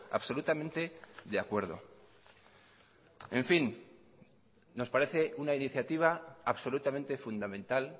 absolutamente de acuerdo en fin nos parece una iniciativa absolutamente fundamental